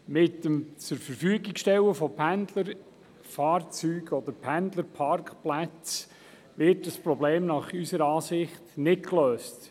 Mit dem Zurverfügungstellen von Pendlerfahrzeugen oder Pendlerparkplätzen wird das Problem unserer Meinung nach nicht gelöst.